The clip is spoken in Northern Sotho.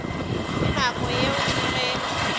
ka nako yeo ke ge